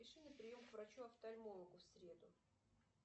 запиши на прием к врачу офтальмологу в среду